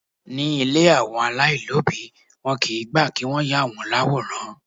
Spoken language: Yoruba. Ní ilé àwọn alailobi, wọn kì í gbà kí wọ́n yà wọ́n l'àwòrán.